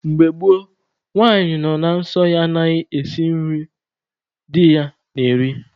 Mgbe gboo, nwanyị nọ na nsọ ya anaghị esi eri nri di ya na-eri.